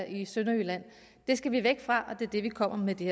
i sønderjylland det skal vi væk fra og det er det vi kommer med det